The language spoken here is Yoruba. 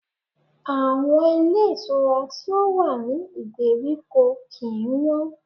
Àwọn ilé ìtura tí ó wà ní ìgbèríko kìí wọ́n.